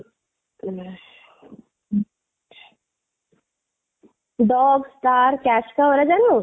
dog, star, cash cow, ଏଇ ଗୁଡା ଜାଣିନୁ